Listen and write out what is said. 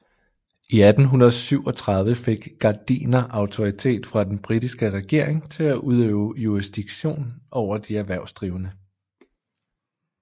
I 1837 fik Gardiner autoritet fra den britiske regering til at udøve jurisdiktion over de erhvervsdrivende